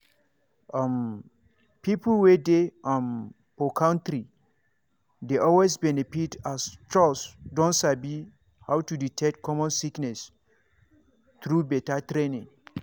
um people wey dey um for country dey always benefit as chws don sabi how to detect common sickness through better training.